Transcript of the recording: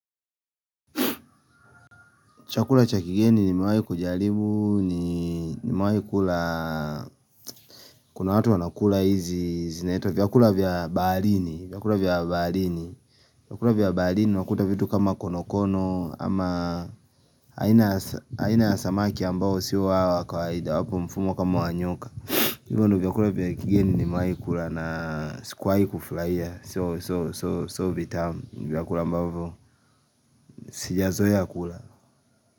Chakula cha kigeni nimewai kujaribu, nimewai kula, kuna watu wanakula hizi, zinaitwa vyakula vya baarini, vyakula vya baarini, vyakula vya baarini, vyakula vya baarini unakuta vitu kama konokono ama aina ya samaki ambao siwa wakawaida wapo mfumo kama wa nyoka. Hivyo ndo vyakula vya kigeni nimewai kula na sikuwai kufuraia, so vitamu vyakula ambavyo sija zoea kula.